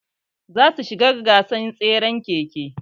Za su shiga gasar tseren keke